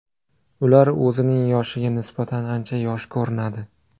Ular o‘zining yoshiga nisbatan ancha yosh ko‘rinadi.